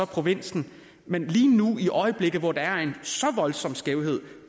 provins men lige nu i øjeblikket hvor der er en så voldsom skævhed